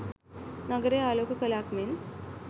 නගරය ආලෝක කලාක් මෙන්